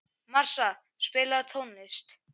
Marsa, spilaðu tónlist.